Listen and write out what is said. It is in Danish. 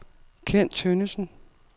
Ken Tønnesen